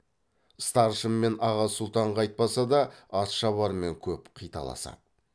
старшын мен аға сұлтанға айтпаса да атшабармен көп қиталасады